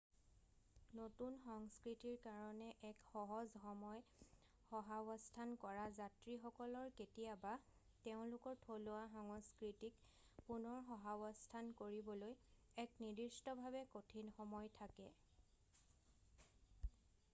নতুন সংস্কৃতিৰ কাৰণে এক সহজ সময় সহাৱস্থান কৰা যাত্ৰীসকলৰ কেতিয়াবা তেওঁলোকৰ থলুৱা সংস্কৃতিক পুনৰ সহাৱস্থান কৰিবলৈ এক নিদিষ্টভাৱে কঠিন সময় থাকে৷